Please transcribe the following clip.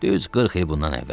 Düz 40 il bundan əvvəl.